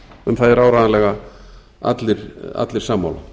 um það eru áreiðanlega allir sammála